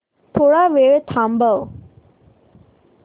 थोडा वेळ थांबव